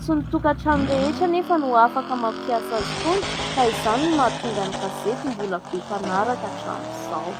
Tsy ny tokatrano rehetra anefa no afaka mampiasa azy itony, ka izany no mahatonga ny gazety mbola be mpanaraka hatramin'izao.